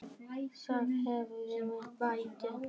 Þannig hefst minn bati.